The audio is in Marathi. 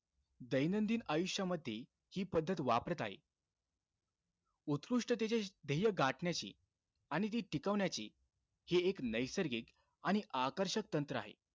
दैनंदिन आयुष्यामध्ये, हि पद्धत वापरत आहे. उत्कृष्टतेचे ध्येय गाठण्याचे आणि ते टिकवण्याचे हे एक नैसर्गिक आणि आकर्षक तंत्र आहे.